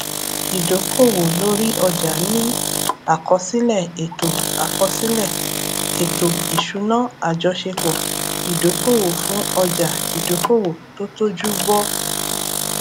ìdókòwò lórí ọjà ní àkọsílẹ ètò àkọsílẹ ètò ìṣúná àjọṣepọ ìdókòwò fún ọjà ìdókòwò tó tójú bọ